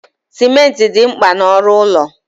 Simenti dị mkpa na ọrụ ụlọ